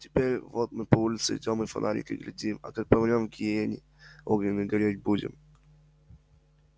теперь вот мы по улице идём и на фонарики глядим а как помрём в гиене огненной гореть будем